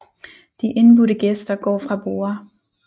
De indbudte gæster går fra borde